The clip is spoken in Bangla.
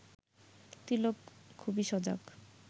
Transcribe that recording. তিলক খুবই সজাগ